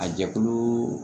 A jɛkulu